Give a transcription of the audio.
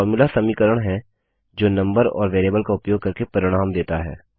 formula समीकरण हैं जो नम्बर और वेरिएबल का उपयोग करके परिणाम देता है